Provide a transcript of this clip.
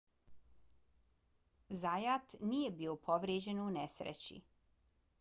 zayat nije bio povrijeđen u nesreći